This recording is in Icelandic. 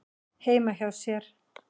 heima hjá sér.